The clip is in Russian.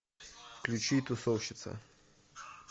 включи тусовщица